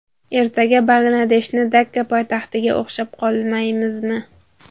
Ertaga Bangladeshni Dakka poytaxtiga o‘xshab qolmaymizmi?!